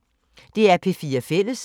DR P4 Fælles